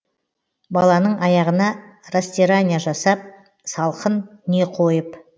баланың аяғына растирания жасап салқын не қойып